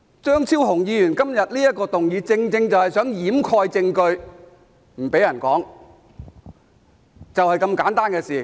張超雄議員今天動議這項議案，正正是想掩蓋證據，不准別人說，就是這麼簡單的事。